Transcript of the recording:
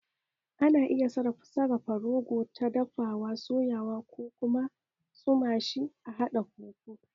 Ana iya sarafa rogo, ta dafawa, soyawa ko kuma a tsuma shi a haɗa fufu